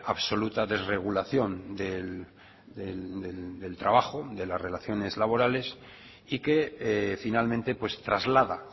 absoluta desregulación del trabajo de las relaciones laborales y que finalmente traslada